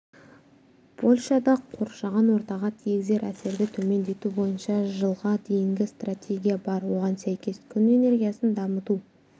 польшада қоршаған ортаға тигізер әсерді төмендету бойынша жылға дейінгі стратегия бар оған сәйкес күн энергиясын дамыту